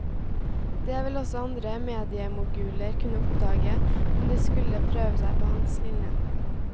Det vil også andre mediemoguler kunne oppdage, om de skulle prøve seg på hans linje.